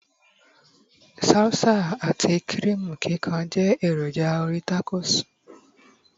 salsa ati kirimu kikan je eroja orí tacos